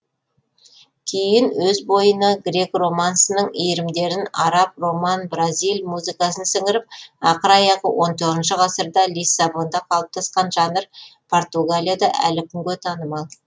кейін өз бойына грек романсының иірімдерін араб роман бразиль музыкасын сіңіріп ақыр аяғы он тоғызыншы ғасырда лиссабонда қалыптасқан жанр португалияда әлі күнге танымал